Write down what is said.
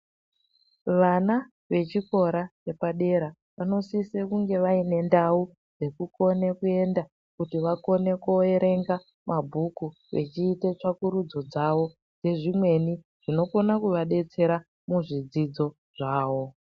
Vana vechikora chepadera vanosise kunge vaine ndau dzekukone kuenda kuti vakone kuerenga mabhuku vechiite tsvakurudzo dzavo dzezvimweni zvinokona kuvadetsera muzvidzidzo zvavo.